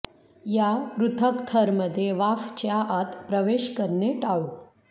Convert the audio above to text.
या पृथक् थर मध्ये वाफ च्या आत प्रवेश करणे टाळू